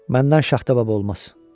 Məndən şaxta baba olmaz.